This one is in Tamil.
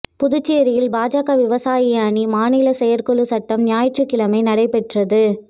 புதுச்சேரியில் பாஜக விவசாய அணி மாநிலச் செயற்குழுக் கூட்டம் ஞாயிற்றுக்கிழமை நடைபெற்றது